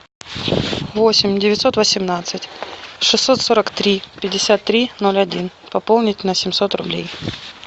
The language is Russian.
восемь девятьсот восемнадцать шестьсот сорок три пятьдесят три ноль один пополнить на семьсот рублей